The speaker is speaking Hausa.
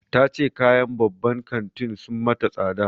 Ta ce kayan babban kantin sun mata tsada.